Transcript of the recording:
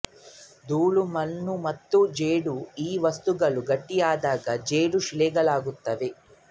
ದೂಳು ಮಣ್ಣು ಮತ್ತು ಜೇಡುಈ ವಸ್ತುಗಳು ಗಟ್ಟಿಯಾದಾಗ ಜೇಡು ಶಿಲೆಗಳಾಗುತ್ತವೆ